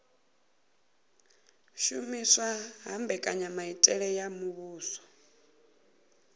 shumiswa ha mbekanyamitele ya muvhuso